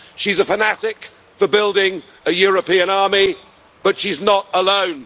She's a fanatic for building a European army, but she's not alone.